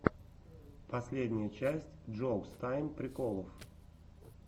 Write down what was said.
последняя часть джоукс тайм приколов